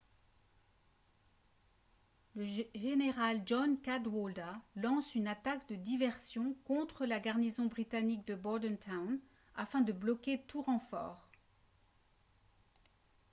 le général john cadwalder lance une attaque de diversion contre la garnison britannique de bordentown afin de bloquer tout renfort